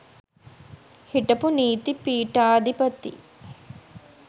හිටපු නීති පීඨාධිපති